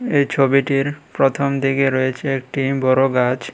এই ছবিটির প্রথমদিকে রয়েছে একটি বড়ো গাছ।